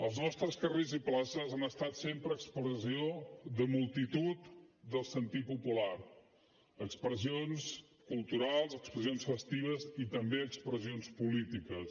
els nostres carrers i places han estat sempre expressió de multitud del sentit popular expressions culturals expressions festives i també expressions polítiques